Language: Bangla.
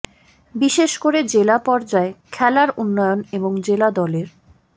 বিশেষ করে জেলা পর্যায়ে খেলার উন্নয়ন এবং জেলা দলের